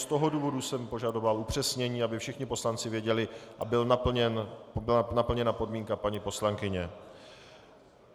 Z toho důvodu jsem požadoval upřesnění, aby všichni poslanci věděli a byla naplněna podmínka paní poslankyně.